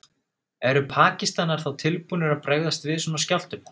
Eru Pakistanar þá tilbúnir að bregðast við svona skjálftum?